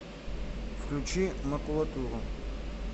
включи макулатуру